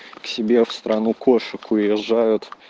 к себе в страну кошек уезжаю